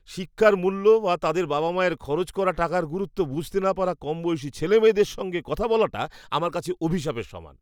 শিক্ষার মূল্য বা তাদের বাবা মায়ের খরচ করা টাকার গুরুত্ব বুঝতে না পারা কমবয়সী ছেলেমেয়েদের সঙ্গে কথা বলাটা আমার কাছে অভিশাপের সমান।